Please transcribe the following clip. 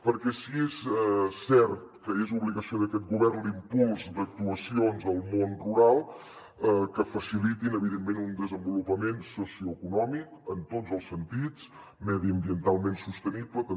perquè si és cert que és obligació d’aquest govern l’impuls d’actuacions al món rural que facilitin evidentment un desenvolupament socioeconòmic en tots els sentits mediambientalment sostenible també